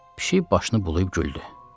Pişik başını bulayıb güldü.